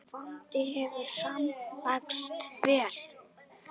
Vonandi hefur smalast vel.